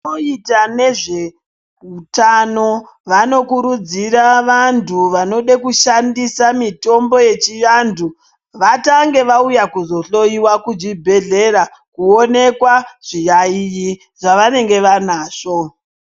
Vanoita nezveutano vanokurudzira vanhu vanoda kushandisa mitombo yechivantu vatange vauya kuzohloyiya kuchibhehleya kuoneka zviyayi zvavanenge vanazvo.